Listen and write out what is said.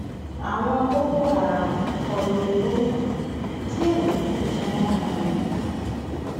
àwọn boko haram kọ lu gomina díẹ ló kù kí wọn mú un